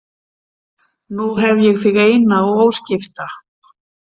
Nú hef ég þig eina og óskipta